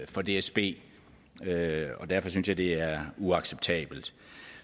for dsb og derfor synes jeg det er uacceptabelt